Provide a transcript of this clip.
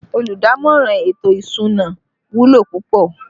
Olùdámọ̀ràn ètò ìsúná wúlò púpọ̀